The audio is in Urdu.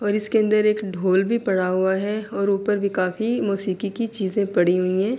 اور اسکے اندر کیک دھول بھی پڑا ہوا ہے اور اپر بھی کافی ماشکی کی چیزے پڑی ہوئی ہے۔